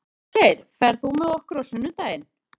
Holgeir, ferð þú með okkur á sunnudaginn?